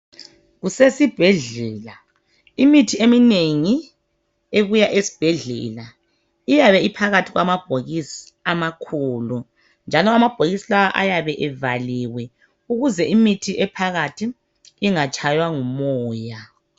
Kusesibhedlela imithi eminengi ebuya esibhedlela iyabe iphakathi kwamabhokisi amakhulu njalo amabhokisi la ayabe evaliwe ukuze imithi ephakathi ingatshaywa ngumoya